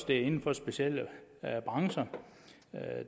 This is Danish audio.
det er inden for specielle brancher